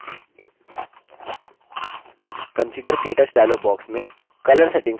configure – ktouch dialog box में color settings पर click करें